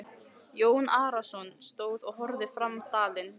Jón Arason stóð og horfði fram dalinn.